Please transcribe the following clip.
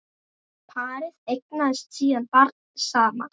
Parið eignast síðan barn saman.